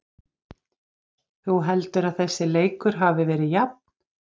Þú heldur að þessi leikur hafi verið jafn?